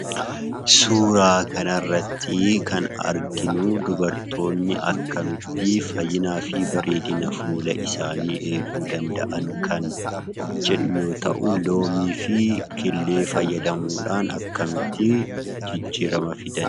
Suuraa kanarrattii kan arginuu dubartoonni akkamittii fayyinaafii bareedina fuula isaanii eeguu danda'an kan jedhu loomiifi killee fayyadamuudhaan akkamittii jijjiirrama fidan?